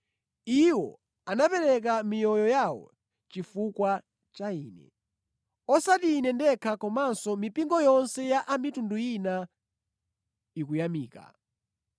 Iwo anapereka miyoyo yawo chifukwa cha ine. Osati ine ndekha komanso mipingo yonse ya a mitundu ina ikuyamika.